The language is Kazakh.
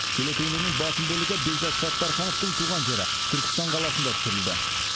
телетуындының басым бөлігі бекзат саттархановтың туған жері түркістан қаласында түсірілді